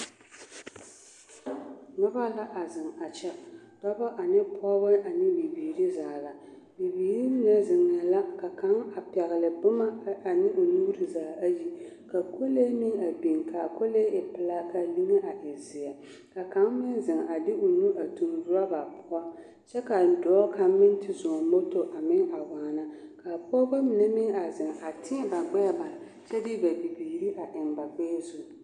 Noba la a zeŋ a kyɛ, dɔbɔ ane pɔgebɔ ane bibiiri zaa la, bibiiri mine zeŋ la ka kaŋa a pɛgele boma ane o nuuri zaa ayi ka kolee meŋ a biŋ, k'a kolee e pelaa k'a liŋe a e zeɛ, ka kaŋ meŋ zeŋ a de o nu toŋ roba poɔ kyɛ k'a dɔɔ kaŋ meŋ te zɔŋ moto a meŋ a waana, ka pɔgebɔ mine meŋ a zeŋ a tēɛ ba gbɛɛ bare kyɛ de ba bibiiri a eŋ ba gbɛɛ zu.